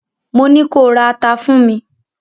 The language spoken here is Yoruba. Mo ní ko ra ata fún mi!